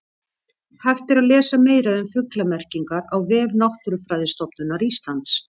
Hægt er að lesa meira um fuglamerkingar á vef Náttúrufræðistofnunar Íslands.